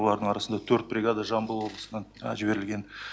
олардың арасында төрт бригада жамбыл облысынан жіберілген